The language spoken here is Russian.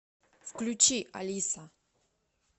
включи алиса